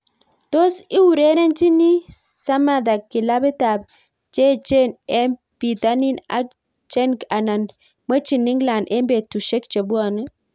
Tos urerenchiin Samatta kilapiit ap cheechen eng pitanin ak Genk anan mwechin England eng petusiek chepwone